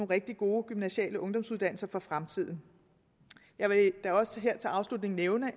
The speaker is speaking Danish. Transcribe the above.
rigtig gode gymnasiale ungdomsuddannelser for fremtiden jeg vil da også her til afslutning nævne